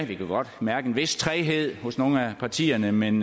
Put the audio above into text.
vi kan godt mærke en vis træghed hos nogle af partierne men